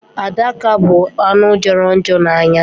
Adaka bụ anụ jọrọ njọ n'anya.